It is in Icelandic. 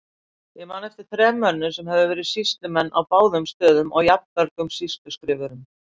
Ég man eftir þrem mönnum sem höfðu verið sýslumenn á báðum stöðum og jafnmörgum sýsluskrifurum.